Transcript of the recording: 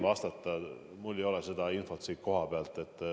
Praegu mul ei ole seda infot siin kohapeal.